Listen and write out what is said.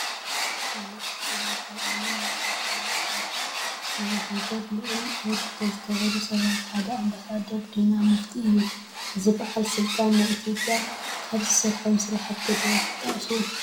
ተፈለጥቲ ሰባት፡- ኣብ ዓለም መድረኽ ኮነ ኣብ ናይ ሃገር ልዑል ኣበርክቶ ዝገበሩ ሰባት ሓደ ኣምባሳደር ዲና ሙፍቲ እዩ፡፡ እዚ ባዓል ስልጣን ናይ ኢትዮጰያ ካብ ዝሰርሖም ስራሕቲ ዶ ትጠቕሱ?